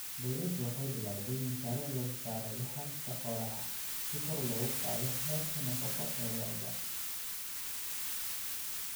Dawladdu waxay bilawday mashaariic lagu soo saarayo calafka xoolaha si kor loogu qaado heerka nafaqo ee lo'da.